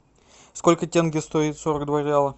сколько тенге стоит сорок два реала